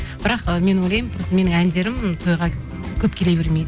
бірақ ы мен ойлаймын менің әндерім тойға көп келе бермейді